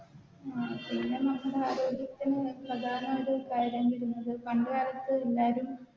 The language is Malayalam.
പിന്നെ നമ്മുടെ ആരോഗ്യത്തിന് പ്രധാനായൊരു കാര്യം വരുന്നത് പണ്ട് കാലത്ത് എല്ലാരും